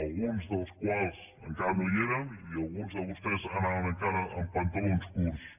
alguns encara no hi érem i alguns de vostès anaven encara amb pantalons curts